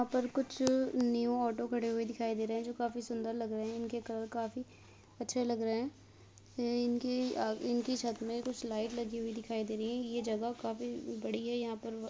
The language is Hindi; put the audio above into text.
यहाँ पर कुछ न्यू ऑटो खड़े हुए दिखाई दे रहे हैं जो काफी सुंदर लग रहे हैं। इनके कलर काफी अच्छे लग रहे हैं। ये इनकी आ इनकी छत में कुछ लाइट लगी हुई दिखाई दे रही हैं। ये जगह काफी बड़ी है। यहाँ पर --